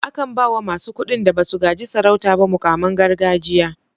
A kan bawa masu kuɗin da basu gaji sarauta ba muƙaman gargajiya.